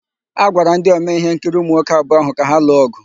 A gwara ndị omee íhénkiri ụmụnwoke abụọ áhụ̀ ka ha lụọ ọ̀gụ.